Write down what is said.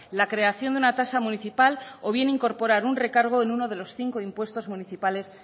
la creación de una tasa municipal o bien incorporar un recargo en uno de los cinco impuestos municipales